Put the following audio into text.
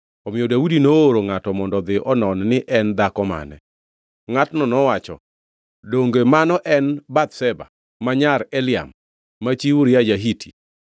omiyo Daudi nooro ngʼato mondo odhi onon ni en dhako mane. Ngʼatno nowacho, “Donge mano en Bathsheba, ma nyar Eliam ma chi Uria ja-Hiti?”